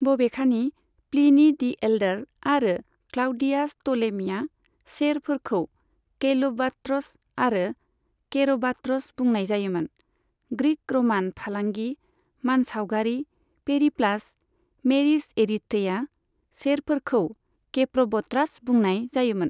बबेखानि Pliny the Elder आरो Claudius Ptolemy चेरफोरखौ कैल'बाट्र'स आरो केर'बाट्र'स बुंनाय जायोमोन, ग्रिक' र'मान फालांगि मानसावगारि पेरिप्लास मेरिस एरिथ्रेईआ चेरफोरखौ केप्र'ब'ट्रास बुंनाय जायोमोन।